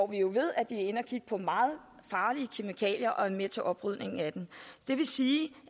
vi ved at de er inde at kigge på meget farlige kemikalier og er med til oprydningen af dem det vil sige